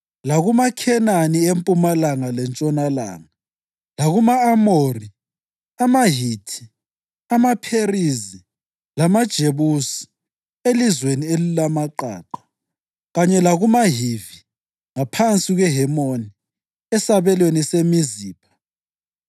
lakumaKhenani empumalanga lentshonalanga; lakuma-Amori, amaHithi, amaPherizi lamaJebusi elizweni elilamaqaqa; kanye lakumaHivi ngaphansi kweHemoni esabelweni seMizipha.